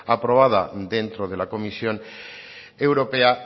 aprobada dentro de la comisión europea